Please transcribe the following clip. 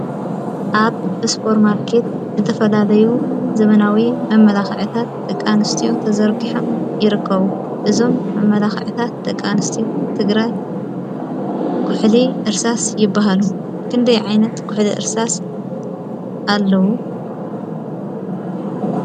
ኣብ እስጶር ማርከት ዘተፈላለዩ ዘመናዊ መመላኽዕታት ተቃንስትዮ ተዘርጕሐም ይርከቡ እዞም መመላኽዕታት ተቃንስትዩ ትግራ ኲሕሊ ርሳስ ይበሃሉ ክንደይ ዓይነት ኲሕሊ ሥርሳስ ኣለዉ።